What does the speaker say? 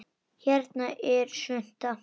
Hérna er svunta